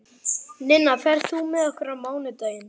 Ninna, ferð þú með okkur á mánudaginn?